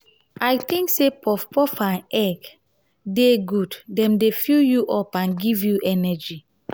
i think say puff-puff and egg dey good dem dey fill you up and give you energy.